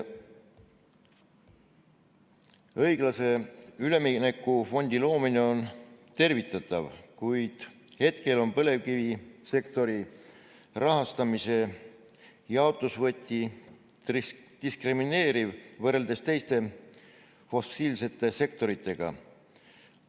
Õiglase ülemineku fondi loomine on tervitatav, kuid hetkel on põlevkivisektori rahastamise jaotusvõti diskrimineeriv võrreldes teiste fossiilsete sektoritega.